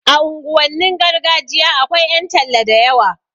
A unguwannin gargajiya akwai ƴan talla da yawa